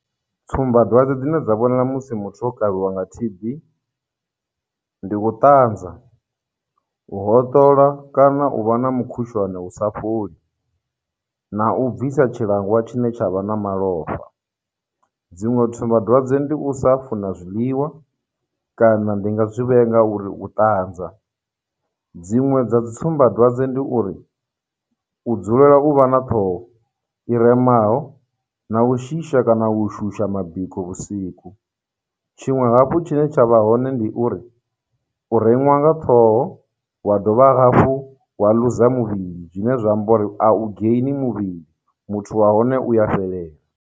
Tsumbadwadze dzine dza vhonala musi muthu o kavhiwa nga T_B ndi u ṱanzwa, u hoṱola kana u vha na mukhushwane u sa fholi, na u bvisa tshilangwa tshine tsha vha na malofha. Dziṅwe tsumbadwadze ndi u sa funa zwiḽiwa kana ndi nga zwi vhea nga uri u ṱanza, dziṅwe dza dzitsumbadwadze ndi uri u dzulela u vha na ṱhoho i remaho, na u shisha kana u shusha mabiko vhusiku, tshiṅwe hafhu tshi ne tsha vha hone ndi uri u reṅwa nga ṱhoho, wa dovha hafhu wa luza muvhili, zwine zwa amba uri a u geini muvhili, muthu wa hone u ya fhelela.